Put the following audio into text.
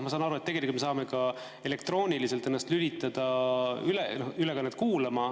Ma saan aru, et me saame ka elektrooniliselt lülitada ennast ülekannet kuulama.